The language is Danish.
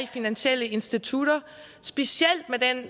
finansielle institutter specielt med den